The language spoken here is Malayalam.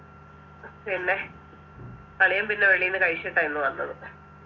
പിന്നെ അളിയൻ പിന്നെ വെളിയിന്ന് കഴിച്ചിട്ടാ ഇന്ന് വന്നത്